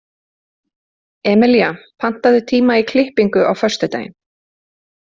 Emelía, pantaðu tíma í klippingu á föstudaginn.